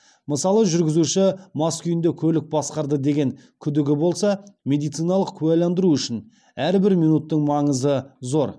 мысалы жүргізуші мас күйінде көлік басқарды деген күдігі болса медициналық куәландыру үшін әрбір минуттың маңызы зор